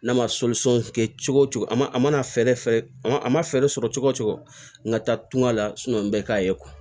N'a ma kɛ cogo o cogo a man a mana fɛɛrɛ fɛ a man fɛɛrɛ sɔrɔ cogo o cogo n ka taa tunga la n bɛ k'a ye